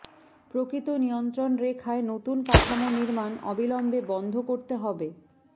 প্রকৃত নিয়ন্ত্রণরেখায় নতুন কাঠামো নির্মাণ অবিলম্বে বন্ধ করতে হবে